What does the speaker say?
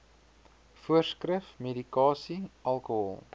voorskrif medikasie alkohol